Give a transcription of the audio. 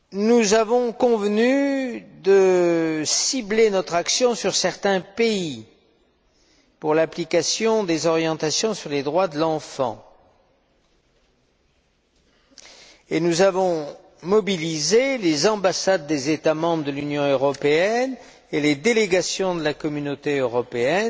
Nous avons convenu de cibler nos actions sur certains pays en ce qui concerne l'application des orientations sur les droits de l'enfant, et nous avons mobilisé les ambassades des États membres de l'Union européenne et les délégations de la Communauté européenne